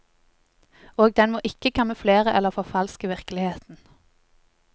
Og den må ikke kamuflere eller forfalske virkeligheten.